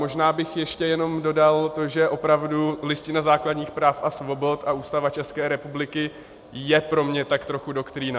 Možná bych ještě jenom dodal to, že opravdu Listina základních práv a svobod a Ústava České republiky je pro mě tak trochu doktrína.